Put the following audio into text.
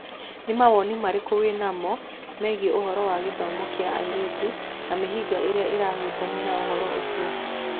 Nĩ mawoni marĩkũ wĩnamo megiĩ ũhoro wa gĩthomo kĩa airĩtu na mĩhĩnga ĩrĩa ĩhutanĩtie na ũhoro ucio?